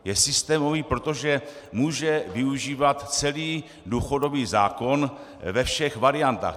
Je systémový, protože může využívat celý důchodový zákon ve všech variantách.